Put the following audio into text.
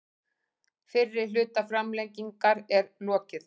Fyrri hluta framlengingar er lokið